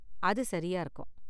அது சரியா இருக்கும்.